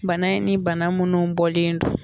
Bana in ni bana minnu bɔlen don